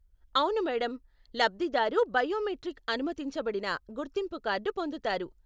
అవును మేడం! లబ్దిదారు బయోమెట్రిక్ అనుమతించబడిన గుర్తింపు కార్డు పొందుతారు.